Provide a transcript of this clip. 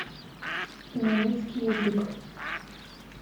немецкий язык